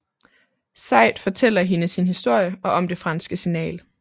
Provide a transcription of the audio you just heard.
Sayid fortæller hende sin historie og om det franske signal